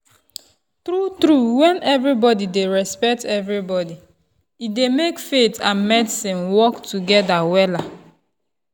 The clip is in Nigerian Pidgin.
true-true when everybody dey respect everybody e dey make faith and medicine work together wella.